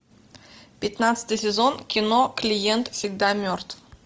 пятнадцатый сезон кино клиент всегда мертв